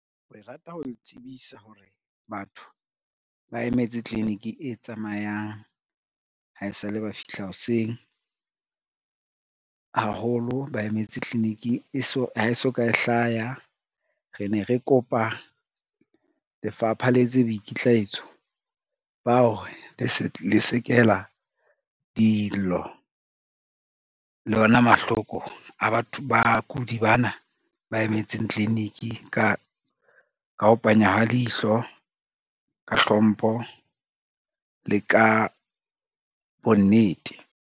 Re rata ho le tsebisa hore batho ba emetse clinic e tsamayang ha e sale ba fihla hoseng, haholo ba emetse clinic ha e soka e hlaya. Re ne re kopa lefapha letse boikitlaetso bao hore lesekela dillo le ona mahloko a bakudi bana ba emetseng clinic ka ho panya ha leihlo, ka hlompho le ka bonnete.